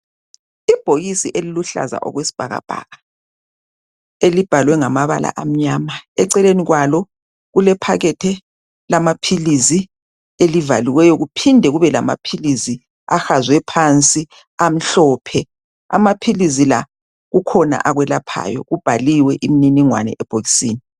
ibhokisi eliluhlaza okwesibhakabhaka elibhalwe ngamabala amyama eceleni kwalo kubhalwe ngamabalala eceleni kwalo kulephakethi lamphilizi elivaliweyo kuphinde kube lamaphilizi ahazwe phansi amaphilizi kukhona akulaphayo kubhaliwe uninikwana ebhokisini.